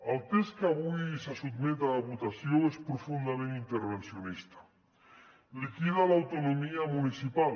el text que avui se sotmet a votació és profundament intervencionista liquida l’autonomia municipal